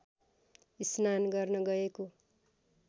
स्नान गर्न गएको